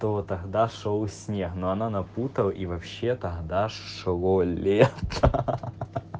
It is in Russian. то тогда шёл снег но она напутала и вообще тогда шло лето ха ха ха ха ха